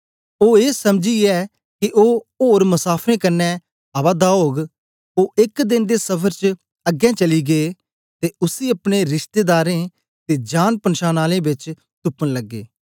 ओ ए समझीयै के ओ ओर मसाफरें कन्ने आवा दा ओग ओ एक देन दे सफर च अगें चली गे ते उसी अपने रिशतेदारें ते जांनपछान आलें बेच तुपन लगे